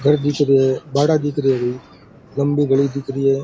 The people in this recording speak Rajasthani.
घर दिख रहियो है बाड़ा दिख रिया है कोई लम्बी गली दिख रही है।